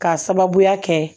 K'a sababuya kɛ